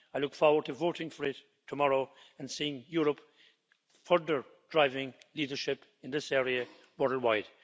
I look forward to voting for it tomorrow and seeing Europe further driving leadership in this area border-wide.